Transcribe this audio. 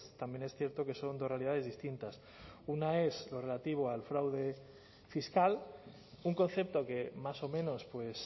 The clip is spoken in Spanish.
también es cierto que son dos realidades distintas una es lo relativo al fraude fiscal un concepto que más o menos pues